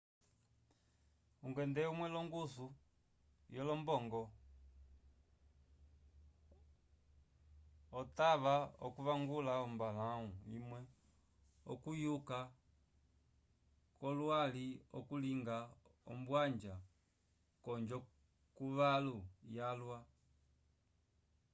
ungende umwe longusu yo lombongo octava okuvangula ombalahu imwe okuyuka kolwali oku linga ombwanja konjo yukalo yalwa